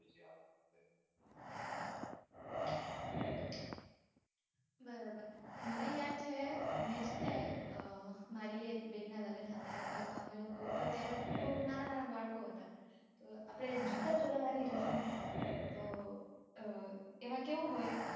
બરાબર મને યાદ છે મેં છે ને મારી એક બેનનાં લગ્ન હતાં તો એમાં અમે લોકો તો ત્યારે બૌ નાનાંનાનાં બાળકો હતાં તો આપડે જૂતા ચોરવાની રસમ હોય તો એમાં કેવું હોય